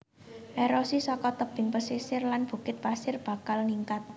Erosi saka tebing pasisir lan bukit pasir bakal ningkat